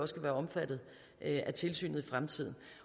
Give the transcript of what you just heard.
skal være omfattet af tilsynet i fremtiden